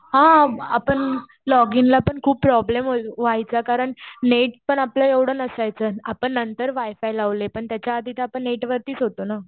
हा. आपण लॉगिन ला पण खूप प्रॉब्लेम व्हायचा. कारण नेट पण आपलं एवढं नसायचं. आपण नंतर वायफाय लावले. पण त्याच्या आधी तर आपण नेट वरतीच होतो ना.